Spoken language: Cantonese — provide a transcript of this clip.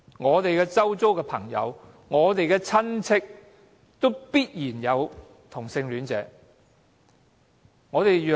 我們周遭的朋友、親屬中也必然有同性戀者。